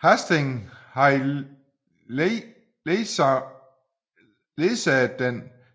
Hastings havde ledsaget